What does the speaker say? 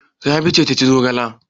Rabi ce ta ci zogala?